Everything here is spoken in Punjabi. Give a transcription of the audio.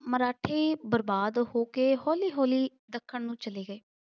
ਮਰਾਠੇ ਬਰਬਾਦ ਹੋ ਕੇ ਹੌਲੀ-ਹੌਲੀ ਦੱਖਣ ਨੂੰ ਚਲੇ ਗਏ।